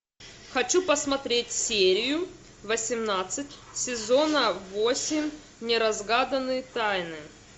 хочу посмотреть серию восемнадцать сезона восемь неразгаданные тайны